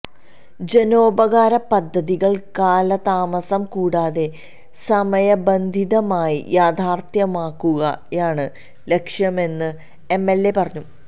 ജനോപകാര പദ്ധതികള് കാലതാമസം കൂടാതെ സമയബന്ധിതമായി യാഥാര്ഥ്യമാക്കുകയാണ് ലക്ഷ്യമെന്ന് എം എല് എ പറഞ്ഞു